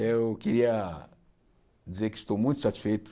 Eu queria dizer que estou muito satisfeito.